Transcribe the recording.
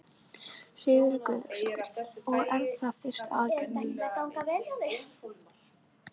Sigríður Guðlaugsdóttir: Og er það fyrsta aðgerðin þín?